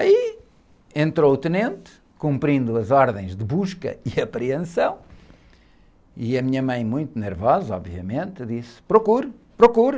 Aí entrou o tenente, cumprindo as ordens de busca e apreensão, e a minha mãe, muito nervosa, obviamente, disse, procure, procure.